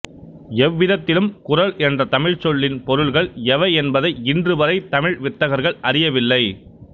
எவ் விதத்திலும் குறள் என்ற தமிழ்ச் சொல்லின் பொருள்கள் எவை என்பதை இன்றுவரை தமிழ் வித்தகர்கள் அறியவில்லை